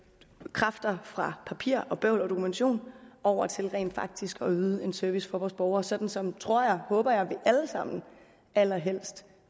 kræfter fra papirarbejde bøvl og dokumentation over til rent faktisk at yde en service for borgerne sådan som tror og håber jeg allerhelst